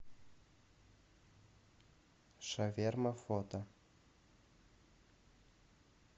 шаверма фото